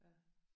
Ja